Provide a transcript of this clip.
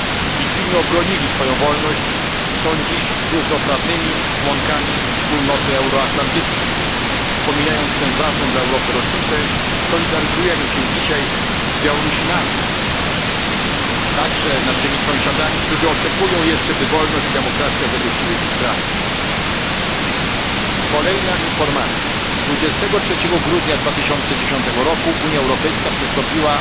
Litwini obronili swoją wolność i są dziś równoprawnymi członkami wspólnoty euroatlantyckiej. Wspominając tę ważną dla Europy rocznicę, solidaryzujemy się dzisiaj z Białorusinami, także naszymi sąsiadami, którzy oczekują jeszcze, by wolność i demokracja zagościły w ich kraju. Kolejna informacja dnia 23 grudnia 2010 roku Unia Europejska przystąpiła